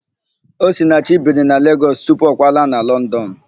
Osinachi biri na Legọs tupu ọ kwalaa na London.